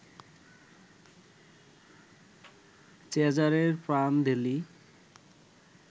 Cesare Prandelli